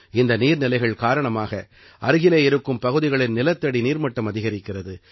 இந்த நீர்நிலைகள் காரணமாக அருகிலே இருக்கும் பகுதிகளின் நிலத்தடி நீர்மட்டம் அதிகரிக்கிறது